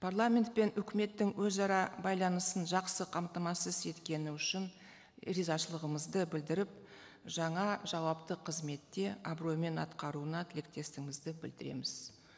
парламент пен үкіметтің өзара байланысын жақсы қамтамасыз еткені үшін ризашылығымызды білдіріп жаңа жауапты қызметте абыроймен атқаруына тілектестігімізді білдіреміз